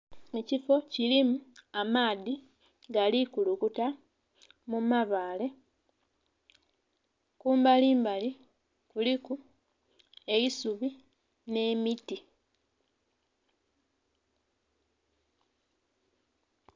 Ekifo kilimu amaadhi Gali kulukuta mu mabale kumbali mbali kuliku eisubi nhe miti.